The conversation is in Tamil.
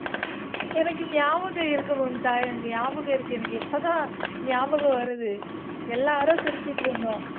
எனக்கு நியாபகம் இருக்கு மும்தா எனக்கு ஞாபகம் இருக்கு எனக்கு இப்பதான் ஞாபகம் வருது எல்லாரும் சிரிச்சிட்டிருந்தோம்